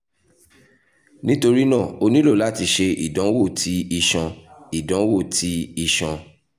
nitorina o nilo lati ṣe idanwo ti iṣan idanwo ti iṣan iṣan iṣan